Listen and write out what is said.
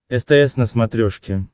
стс на смотрешке